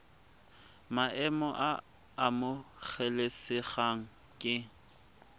maemo a a amogelesegang ke